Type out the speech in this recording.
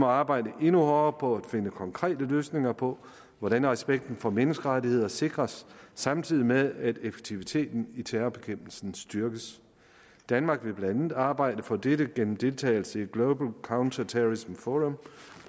arbejde endnu hårdere på at finde konkrete løsninger på hvordan respekten for menneskerettigheder sikres samtidig med at effektiviteten i terrorbekæmpelsen styrkes danmark vil blandt andet arbejde for dette gennem deltagelse i global counterterrorism forum